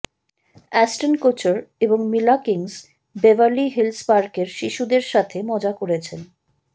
Aston Kutcher এবং Mila Kunis Beverly Hills পার্কের শিশুদের সাথে মজা করেছেন